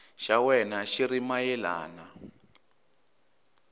xa wena xi ri mayelana